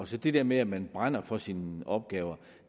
til det der med at man brænder for sine opgaver